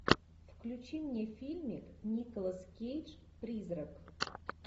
включи мне фильмик николас кейдж призрак